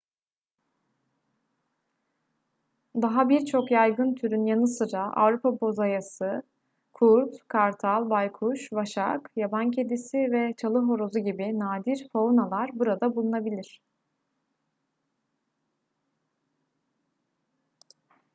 daha birçok yaygın türün yanı sıra avrupa bozayısı kurt kartal baykuş vaşak yaban kedisi ve çalıhorozu gibi nadir faunalar burada bulunabilir